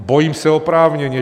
Bojím se oprávněně.